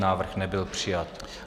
Návrh nebyl přijat.